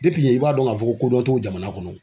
i b'a dɔn k'a fɔ kodɔn t'o jamana kɔnɔ